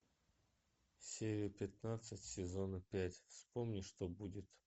серия пятнадцать сезона пять вспомни что будет